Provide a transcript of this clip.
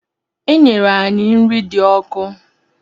E nyere anyị nri dị ọkụ.